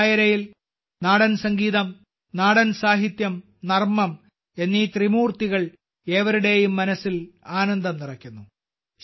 ഈ ഡായരയിൽ നാടൻ സംഗീതം നാടൻ സാഹിത്യം നർമ്മം എന്നീ ത്രിമൂർത്തികൾ ഏവരുടെയും മനസ്സിൽ ആനന്ദം നിറയ്ക്കുന്നു